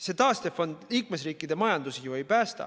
See taastefond liikmesriikide majandust ju ei päästa.